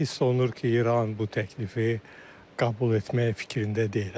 Hiss olunur ki, İran bu təklifi qəbul etmək fikrində deyil.